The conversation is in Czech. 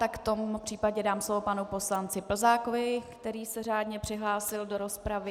Tak v tom případě dám slovo panu poslanci Plzákovi, který se řádně přihlásil do rozpravy.